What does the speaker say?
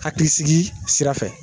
Hakilisigi sira fɛ